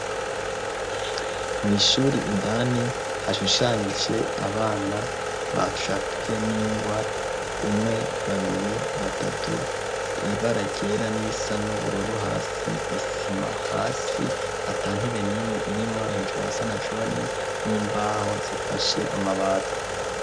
Mw'ishure indani, hashushanije abana bacafywe n'ingwa, umwe, babiri, batatu ibara ryera n'irisa n'ubururu, hasi isima, hasi atantebe n'imwe irimwo, hejuru hasa na jone, n'imbaho zifashe amabati.